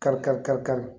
Kari kari kari kari